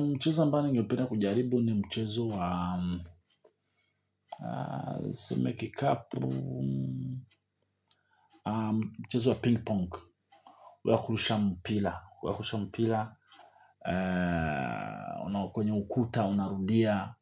Mchezo ambao ningependa kujaribu ni mchezo wa tuseme kikapu mchezo wa ping-pong. Wa kurusha mpila, wakurusha mpila, kwenye ukuta, unarudia,